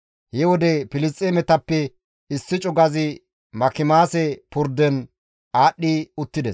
He wode Filisxeemetappe issi cugazi Makimaase purden aadhdhi uttides.